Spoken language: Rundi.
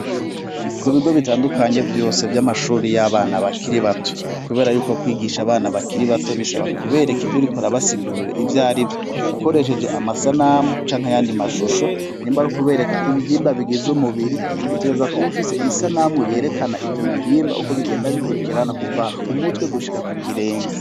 Ku bigo bitandukanye vyose vy'amashure y'abana bakiri bato kubera yuko kwigisha abana bakiri bato bisaba kubereka ivyo urikora urabasigurira ivyarivyo, ukoresheje amasanamu canke ayandi mashusho nimba ari kubereka ibihimba bigize umubiri utegerezwa kuba ufise isanamu yerekana ivyo bihimba uko bigenda bikurikirana kuva ku mutwe gushika ku kirenge.